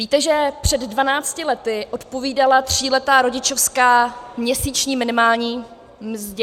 Víte, že před dvanácti lety odpovídala tříletá rodičovská měsíční minimální mzdě...